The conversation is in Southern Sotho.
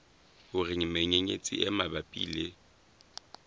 hore menyenyetsi e mabapi le